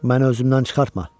Məni özümdən çıxartma.